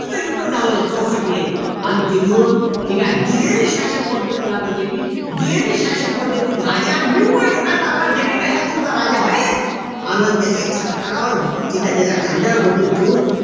च युद्ध झालं. चौसष्टले अन तिथून ठीक आहे दुहेरी शासनपद्धती लागू केली दुहेरी शासनपद्धतीत राजा निव्वळ लोकांना दाखवाले ठेवे या तुमचा राजा होय अन त्याच्या छातकाडावर ठीक आहे त्याच्या खांद्यावर बंदूक ठेऊन